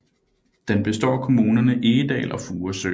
Den består af kommunerne Egedal og Furesø